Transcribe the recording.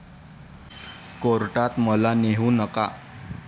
कोर्टात मला नेऊ नका